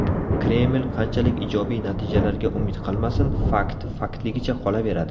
Kreml qanchalik ijobiy natijalarga umid qilmasin, fakt faktligicha qolaveradi.